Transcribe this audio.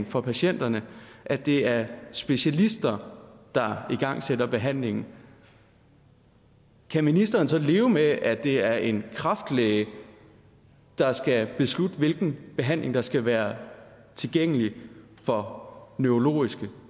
for patienterne at det er specialister der igangsætter behandlingen kan ministeren så leve med at det er en kræftlæge der skal beslutte hvilken behandling der skal være tilgængelig for neurologiske